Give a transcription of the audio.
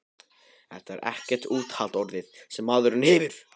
Þetta er ekkert úthald orðið, sem maðurinn hefur!